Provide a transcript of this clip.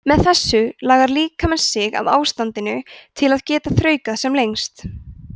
með þessu lagar líkaminn sig að ástandinu til að geta þraukað sem lengst